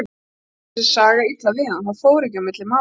Og samt kom þessi saga illa við hann, það fór ekki á milli mála.